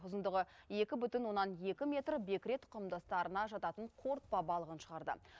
ұзындығы екі бүтін оннан екі метр бекіре тұқымдастарына жататын қорытпа балығын шығарды